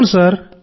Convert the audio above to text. అవును సర్